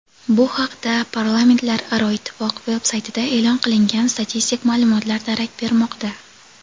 Bu haqda Parlamentlararo ittifoq veb-saytida e’lon qilingan statistik ma’lumotlar darak bermoqda.